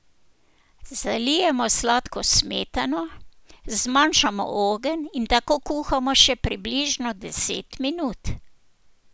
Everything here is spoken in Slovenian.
Zalijemo s sladko smetano, zmanjšamo ogenj in tako kuhamo še približno deset minut.